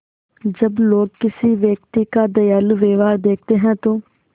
जब लोग किसी व्यक्ति का दयालु व्यवहार देखते हैं तो